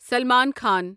Salman Khan